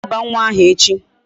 A ga-aba nwa aha echi.